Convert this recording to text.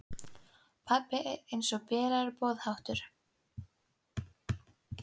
Pabbi er eins og bilaður boðháttur.